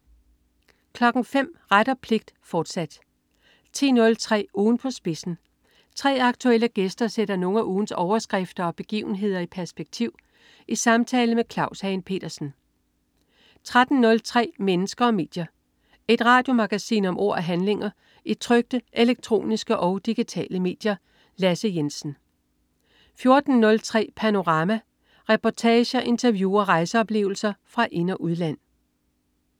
05.00 Ret og pligt, fortsat 10.03 Ugen på spidsen. 3 aktuelle gæster sætter nogle af ugens overskrifter og begivenhederi perspektiv i samtale med Claus Hagen Petersen 13.03 Mennesker og medier. Et radiomagasin om ord og handlinger i trykte, elektroniske og digitale medier. Lasse Jensen 14.03 Panorama. Reportager, interview og rejseoplevelser fra ind- og udland